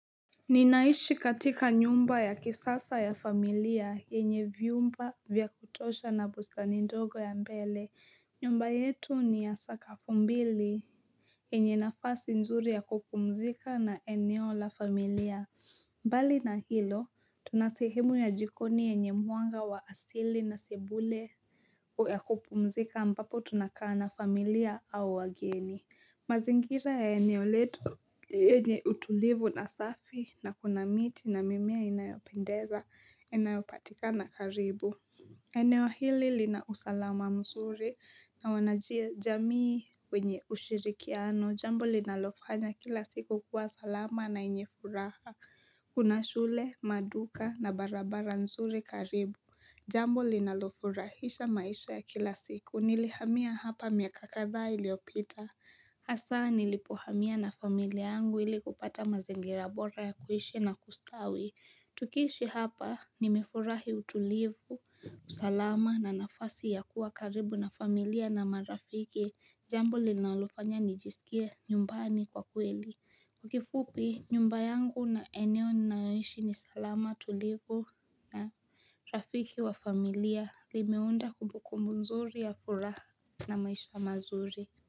Ninaishi katika nyumba ya kisasa ya familia yenye vyumba vyakutosha na bustani ndogo ya mbele, nyumba yetu ni ya sakafumbili yenye nafasi nzuri ya kupumzika na eneo la familia mbali na hilo tunasehemu ya jikoni yenye mwanga wa asili na sebule O ya kupumzika ambapo tunakaana familia au wageni mazingira ya eneoletu yenye utulivu na safi na kuna miti na mimea inayopendeza inayopatika na karibu eneo hili linausalama mzuri na wanajia jamii wenye ushirikiano jambo linalofanya kila siku kuwa salama na yenyefuraha Kuna shule maduka na barabara nzuri karibu Jambo linalofurahisha maisha ya kila siku nilihamia hapa miaka kadhaa iliyopita Hasa nilipohamia na familia yangu ili kupata maziingirabora ya kuishi na kustawi Tukiishi hapa nimefurahi utulivu, usalama na nafasi ya kuwa karibu na familia na marafiki Jambo linalofanya nijisikie nyumbani kwa kweli kifupi nyumbayangu na eneo ninayoishi ni salama tulivu na rafiki wa familia Limeunda kumbuku nzuri ya furaha na maisha mazuri.